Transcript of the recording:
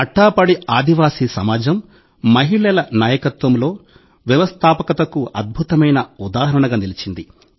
అట్టాపడి ఆదివాసీ సమాజం మహిళల నాయకత్వంలో వ్యవస్థాపకతకు అద్భుతమైన ఉదాహరణగా నిలిచింది